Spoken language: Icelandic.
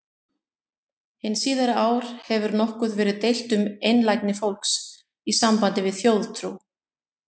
Hin síðari ár hefur nokkuð verið deilt um einlægni fólks í sambandi við þjóðtrú.